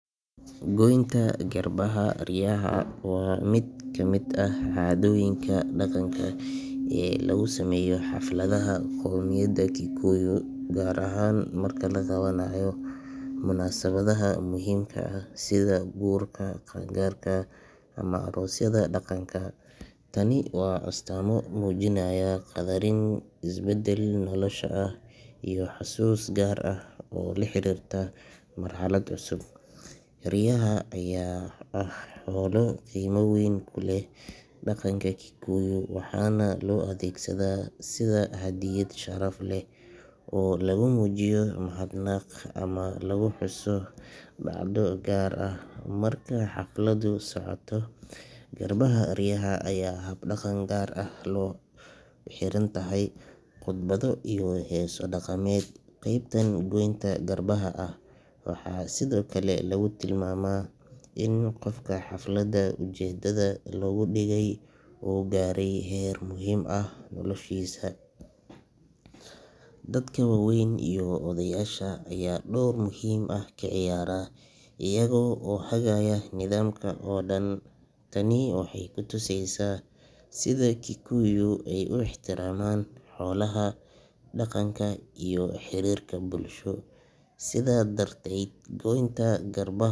Goynta garbaha riyaha waa mid ka mid ah caadooyinka dhaqanka ee lagu sameeyo xafladaha qowmiyadda Kikuyu, gaar ahaan marka la qabanayo munaasabadaha muhiimka ah sida guurka, qaan-gaarka ama aroosyada dhaqanka. Tani waa astaamo muujinaya qadarin, isbeddel nolosha ah iyo xasuus gaar ah oo la xiriirta marxalad cusub. Riyaha ayaa ah xoolo qiimo weyn ku leh dhaqanka Kikuyu, waxaana loo adeegsadaa sida hadiyad sharaf leh oo lagu muujiyo mahadnaq ama lagu xuso dhacdo gaar ah. Marka xafladdu socoto, garbaha riyaha ayaa la jarayaa si tartiib ah, iyadoo la raacayo hab-dhaqan gaar ah oo ay ku xiran tahay khudbado iyo heeso dhaqameed. Qaybtan goynta garbaha ah waxaa sidoo kale lagu tilmaamaa in qofka xafladda ujeedada looga dhigay uu gaaray heer muhiim ah noloshiisa. Dadka waaweyn iyo odayaasha ayaa door muhiim ah ka ciyaara, iyaga oo hagaya nidaamka oo dhan. Tani waxay ku tusaysaa sida Kikuyu ay u ixtiraamaan xoolaha, dhaqanka iyo xiriirka bulsho. Sidaa darteed, goynta garbah.